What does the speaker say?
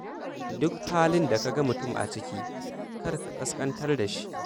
Duk halin da ka ga mutum a ciki, kar ka ƙasƙantar da shi.